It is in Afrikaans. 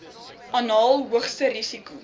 anaal hoogste risiko